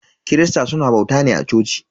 Kirista suna bauta ne a coci.